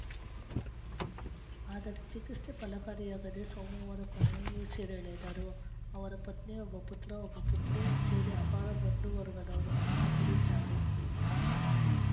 ಆದರೆ ಚಿಕಿತ್ಸೆ ಫಲಕಾರಿಯಾಗದೆ ಸೋಮವಾರ ಕೊನೆಯುಸಿರೆಳೆದರು ಅವರ ಪತ್ನಿ ಒಬ್ಬ ಪುತ್ರ ಒಬ್ಬ ಪುತ್ರಿ ಸೇರಿ ಅಪಾರ ಬಂಧುವರ್ಗದವರನ್ನು ಆಗಲಿದ್ದಾರೆ